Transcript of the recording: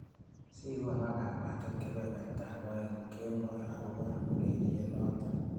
Sikonoo kabwatet kebebertab aeng kemboi akobo ureriet noto.